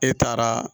E taara